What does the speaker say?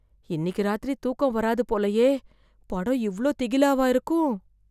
இன்னிக்கு ராத்திரி தூக்கம் வராது போலயே. படம் இவ்ளோ திகிலாவா இருக்கும்.